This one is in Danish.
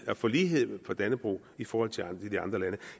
at få lighed for dannebrog i forhold til andre lande